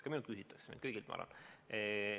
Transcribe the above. Ka minult küsitakse – üldse kõigilt, ma arvan.